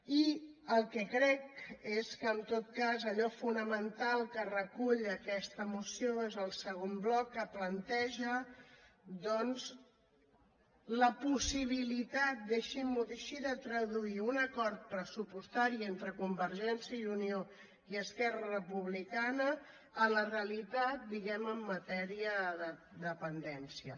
i el que crec és que en tot cas allò fonamental que recull aquesta moció és el segon bloc que planteja doncs la possibilitat deixin m’ho dir així de traduir un acord pressupostari entre convergència i unió i esquerra republicana a la realitat diguem en matèria de dependència